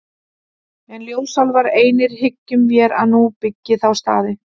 En ljósálfar einir hyggjum vér að nú byggi þá staði.